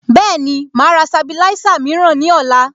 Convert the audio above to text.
Bẹ́ẹ̀ni, màá rà Sabilisa mìíràn ní ọ̀la